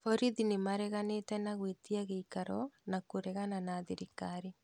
Borithi nĩmareganĩte na gwĩtia gĩikaro na kũregana na thirikari